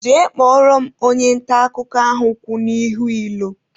Jee kpọrọ m onye nta akụkọ ahụ kwụ n'ihu ilo!